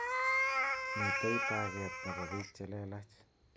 Mitei taket nebo bik chelelach.